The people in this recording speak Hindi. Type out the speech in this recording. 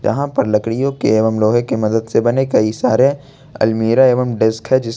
यहां पर लकड़ियों के एवं लोहे की मदद से बने कई सारे अलमीरा एवं डेस्क है जिसके--